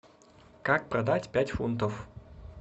как продать пять фунтов